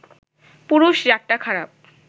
পুরুষ-জাতটা খারাপ